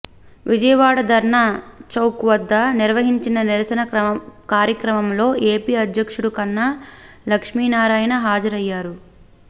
విజయవాడ ధర్నా చౌక్ వద్ద నిర్వహించిన నిరసన కార్యక్రమంలో ఏపీ అధ్యక్షుడు కన్నా లక్ష్మీనారాయణ హజరయ్యారు